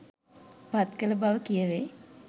පත් කළ බව කියැවේ.